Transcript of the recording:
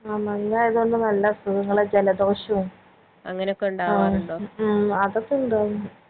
ആ മഞ്ഞായത് കൊണ്ടും നല്ല അസുഖങ്ങളൊക്കെ ജലധോഷോം ആ ഉം അതൊക്കെ ഇണ്ട്